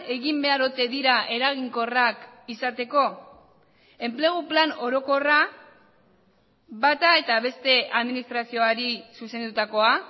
egin behar ote dira eraginkorrak izateko enplegu plan orokorra bata eta beste administrazioari zuzendutakoa